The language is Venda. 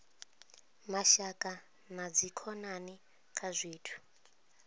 mashaka na dzikhonani kha zwithu